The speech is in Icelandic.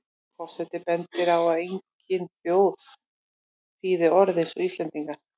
Forseti bendir á að engin þjóð þýði orð eins og Íslendingar.